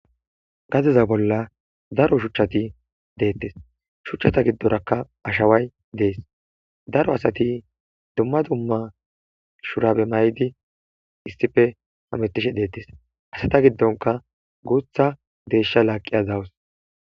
Gadeza bola daro shuchay detes shuchata gidoraka ashaway des daro asati duma duma shurabe mayidi issipe hametishe de'etes eta gidonka guta desha laqiya betawus.